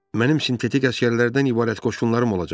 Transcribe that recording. Mənim sintetik əsgərlərdən ibarət qoşunlarım olacaq.